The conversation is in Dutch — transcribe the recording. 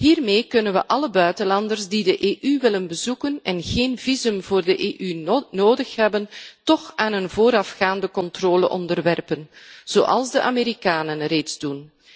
Hiermee kunnen we alle buitenlanders die de EU willen bezoeken en geen visum voor de EU nodig hebben, toch aan een voorafgaande controle onderwerpen zoals de Amerikanen reeds doen.